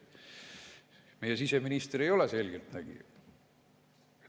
Meie siseminister ei ole selgeltnägija.